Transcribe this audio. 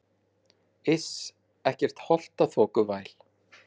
Iss, ekkert holtaþokuvæl.